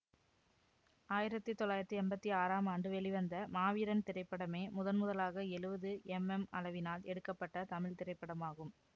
ஆயிரத்தி தொள்ளாயிரத்தி எம்பத்தி ஆறாம் ஆண்டு வெளிவந்த மாவீரன் திரைப்படமே முதன் முதலாக எழுவது எம்எம் அளவினால் எடுக்க பட்ட தமிழ் திரைப்படமாகும்